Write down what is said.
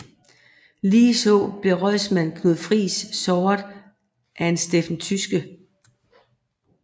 Ligeså blev rådsmand Knud Friis såret af en Steffen Tyske